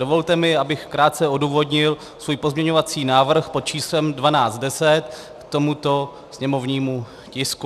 Dovolte mi, abych krátce odůvodnil svůj pozměňovací návrh pod číslem 1210 k tomuto sněmovnímu tisku.